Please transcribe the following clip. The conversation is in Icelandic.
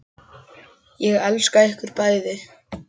Ég elska ykkur bæði.